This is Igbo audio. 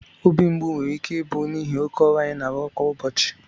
obi mgbu nwere ike ịbụ n'ihi oke ọrụ anyị na-arụ kwa ụbọchị